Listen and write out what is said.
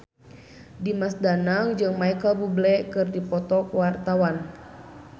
Dimas Danang jeung Micheal Bubble keur dipoto ku wartawan